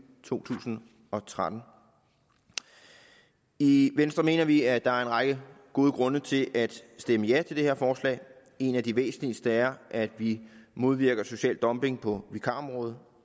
to tusind og tretten i venstre mener vi at der er en række gode grunde til at stemme ja til det her forslag en af de væsentligste er at vi modvirker social dumping på vikarområdet